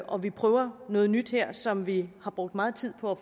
og vi prøver noget nyt her som vi har brugt meget tid på